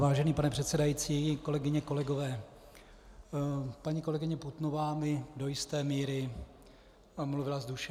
Vážený pane předsedající, kolegyně, kolegové, paní kolegyně Putnová mi do jisté míry mluvila z duše.